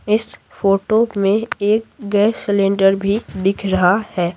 इस फोटो में एक गैस सिलेंडर भी दिख रहा है।